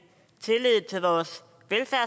tillid til og